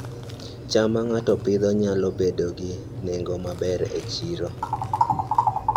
cham ma ng'ato Pidhoo nyalo bedo gi nengo maber e chiro